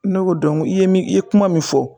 Ne ko i ye min ye kuma min fɔ